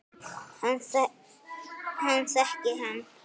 Hann þekkir hann.